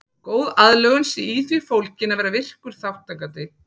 Góð aðlögun sé í því fólgin að vera virkur þátttakandi.